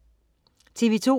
TV2: